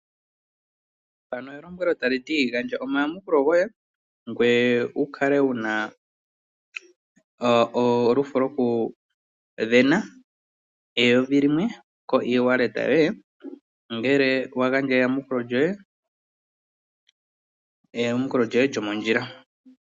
Mpano elombwelo tali ti gandja omayamukulo goye ngoye wu kale wu na olufo lwokusindana ngele wa gandja eyamukulo lyoye lyomondjila.